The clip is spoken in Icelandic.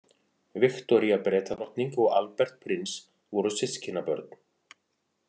Viktoría Bretadrottning og Albert prins voru systkinabörn.